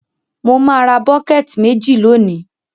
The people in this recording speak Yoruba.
Mo má ra bucket méjì lónìí